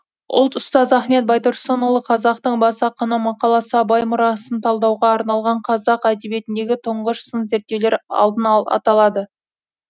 ұлт ұстазы ахмет байтұрсынұлы қазақтың бас ақыны мақаласы абай мұрасын талдауға арналған қазақ әдебиетіндегі тұңғыш сын зерттеулер алдына аталады